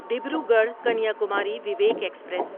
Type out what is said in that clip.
Dibrugarh Kanyakumari Vivek express